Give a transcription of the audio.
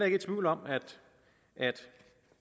ikke i tvivl om at